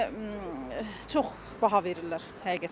Yəni çox baha verirlər həqiqətən.